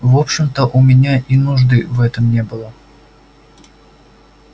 в общем-то у меня и нужды в этом не было